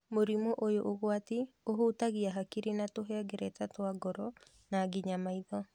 Mũrimũ ũyũ ũgwati ũhutagia hakiri na tũhengereta twa ngoro na nginya maitho.